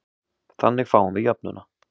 Þannig fáum við jöfnuna